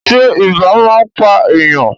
Ṣé ibà máa ń pà èèyàn?